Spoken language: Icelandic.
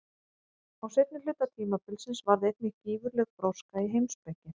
Á seinni hluta tímabilsins varð einnig gífurleg gróska í heimspeki.